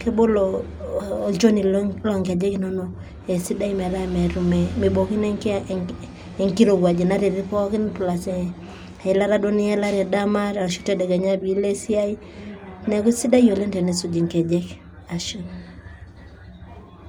kebolo olchoni lonkejek inonok esidai metaa meibookino enkirowuaj iina terit pooki, eilata duo nielare dama arashu tadekenya pee iilo esiai niaku sidai oleng teneisuji inkejek. Ashe.